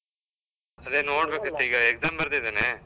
ಅದೇ ನೋಡಿದ್ಬೇಕಿತ್ತು, ಈಗ exam ಬರ್ದಿದ್ದೇನೆ.